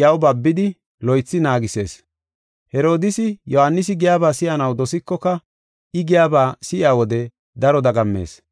iyaw babidi loythi naagisees. Herodiisi Yohaanisi giyaba si7anaw dosikoka I giyaba si7iya wode daro dagammees.